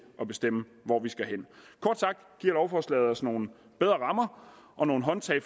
at bestemme hvor vi skal hen kort sagt giver lovforslaget os nogle bedre rammer og nogle håndtag